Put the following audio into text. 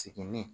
Sigini